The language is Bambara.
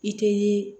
I tɛ